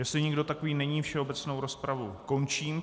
Jestli nikdo takový není, všeobecnou rozpravu končím.